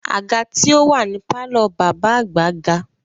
Àga tí ó wà ní pàlọ́ bàbá àgbà ga